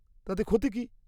-তাতে ক্ষতি কী?